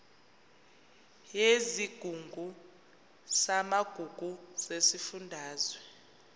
yesigungu samagugu sesifundazwe